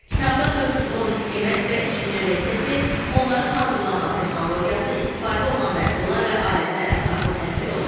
Kitabda 413 yemək və içkinin resepti, onların hazırlanma texnologiyası, istifadə olunan məhsullar və alətlər ətraflı təsvir olunub.